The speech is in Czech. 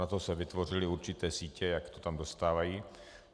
Na to se vytvořily určité sítě, jak to tam dostávají.